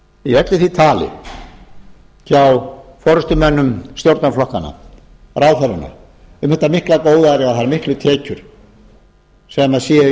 í öllu því tali hjá forustumönnum stjórnarflokkanna ráðherranna um þetta mikla góðæri og þær miklu tekjur sem séu í